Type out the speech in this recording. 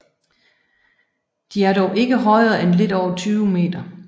De er dog ikke højere end lidt over 20 m